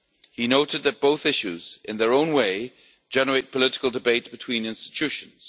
He noted that both issues, in their own way, generate political debate between EU institutions.